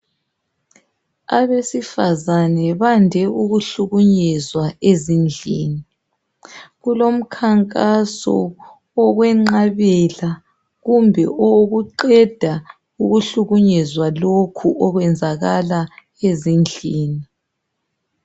Abesifazana bande ukuhlukunyezwa ezindlini, kulomkhankaso owokwenqabela kumbe owokuqeda ukuhlukunyezwa lokhu okwenzakala ezindlini.